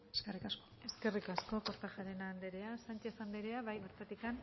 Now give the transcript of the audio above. eskerrik asko eskerrik asko kortajarena anderea sánchez anderea bertatik